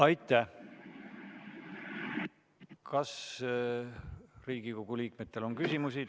Aitäh Kas Riigikogu liikmetel on küsimusi?